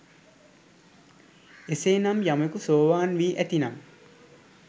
එසේනම් යමෙකු සෝවාන් වී ඇතිනම්